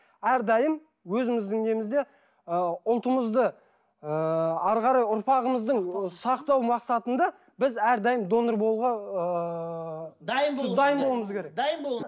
әрдайым өзіміздің немізде ы ұлтымызды ыыы әрі қарай ұрпағымыздың сақтау мақсатында біз әрдайым донор болуға ыыы дайын болуымыз керек дайын болу